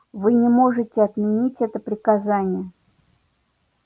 вы не можете отменить это приказание